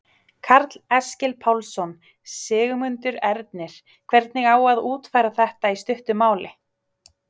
Karl Eskil Pálsson: Sigmundur Ernir, hvernig á að útfæra þetta í stuttu máli?